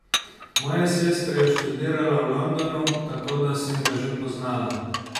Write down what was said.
Moja sestra je študirala v Londonu, tako da sem ga že poznala.